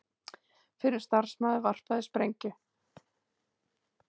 Fyrrum starfsmaður varpaði sprengju